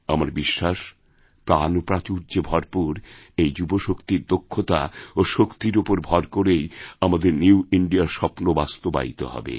আমার বিশ্বাস প্রাণপ্রাচুর্যে ভরপুর এইযুবশক্তির দক্ষতা ও শক্তির ওপর ভর করেই আমাদের নিউ ইন্দিয়া র স্বপ্নবাস্তবায়িত হবে